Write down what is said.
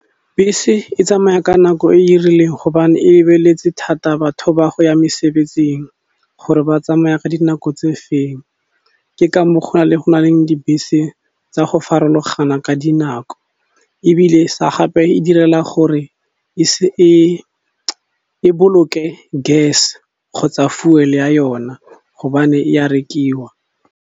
Bese e tsamaya ka nako e e rileng hobane e lebeletse thata batho ba go ya mesebetsing gore ba tsamaya ka dinako tse feng ke ka moo go na le go na le dibese tsa go farologana ka dinako, ebile sa gape e direla gore e e boloke gas kgotsa fuel ya yona hobane ya rekiwa.